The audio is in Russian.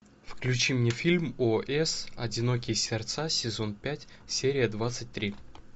включи мне фильм о эс одинокие сердца сезон пять серия двадцать три